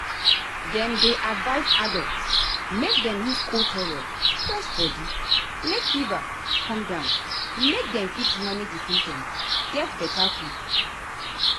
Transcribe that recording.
dem dey advise adults make dem use cold towel press body make fever come down make dem fit manage di symptoms get beta quick.